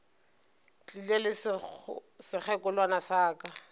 tlile le sekgekolwana sa ka